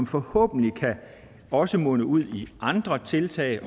forhåbentlig kan det også munde ud i andre tiltag